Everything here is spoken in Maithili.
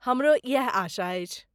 हमरो इएह आशा अछि।